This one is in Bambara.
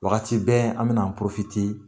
Wagati bɛ an bɛna an